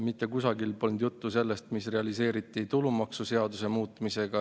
Mitte kusagil polnud juttu sellest, mis realiseeriti tulumaksuseaduse muutmisega.